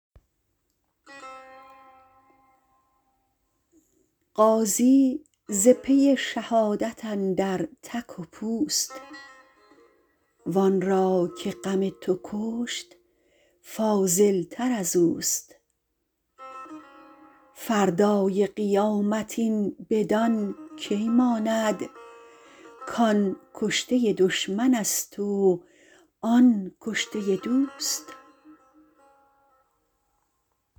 غازی ز پی شهادت اندر تک و پوست وآن را که غم تو کشت فاضل تر ازوست فردای قیامت این بدان کی ماند کآن کشته دشمن ست و آن کشته دوست